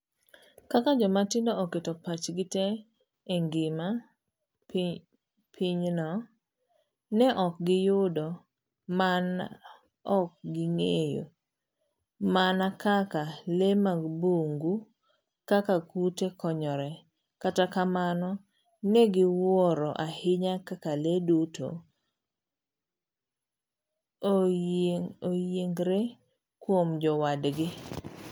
Kaka jomatindogo oketo pachgi tee e ngima pinyno, ne ok giyudo mana ok ging'eyo mana kaka lee mag bungu kaka kute konyre, kata kamano ne giwuoro ahinya kaka lee duto oyiengre kuom jowadgi..